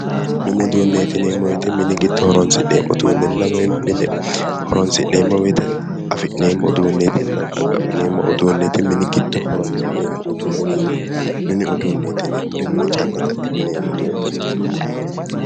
Mini uduunneeti yineemmo woyite mini giddo horoonsi'neemmo uduunnenna woyi mine horoonsi'neemmo woyite afi'neemmo uduunneetinna xaqqa'mineemmo uduunneeti. Mini giddo horoonsi'neemmo uduunneeti. Mini uduunneeti yineemmori mine calla xaqqa'mineemmo uduunneeti.